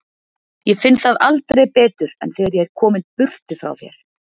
Ég finn það aldrei betur en þegar ég er kominn burtu frá þér.